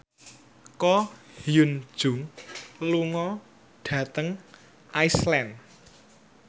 Ko Hyun Jung lunga dhateng Iceland